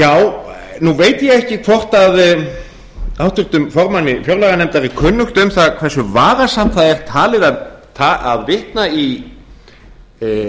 já nú veit ég ekki hvort háttvirtum formanni fjárlaganefndar er kunnugt um það hversu vafasamt það er talið að vitna í hænsnabú í stjórnmálaræðum þetta gerði